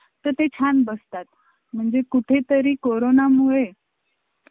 graphic च तो मुलगा आणि तू म्हंटले तर contact